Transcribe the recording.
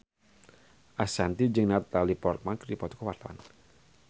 Ashanti jeung Natalie Portman keur dipoto ku wartawan